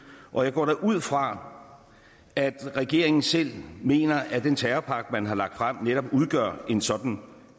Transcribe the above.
og jeg går da ud fra at regeringen selv mener at den terrorpakke man har lagt frem netop udgør en sådan